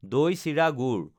দৈ চিৰা গুড়